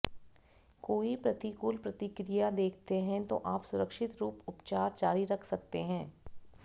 कोई प्रतिकूल प्रतिक्रिया देखते हैं तो आप सुरक्षित रूप उपचार जारी रख सकते हैं